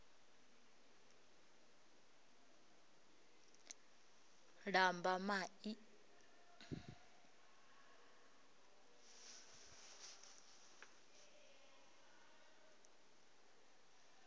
lambamai